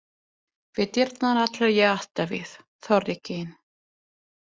Við dyrnar ætlaði ég að hætta við, þorði ekki inn.